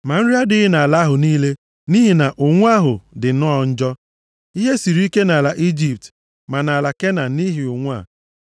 Ma nri adịghị nʼala ahụ niile nʼihi na ụnwụ ahụ dị nnọọ njọ. Ihe siri ike nʼala Ijipt ma nʼala Kenan nʼihi ụnwụ a.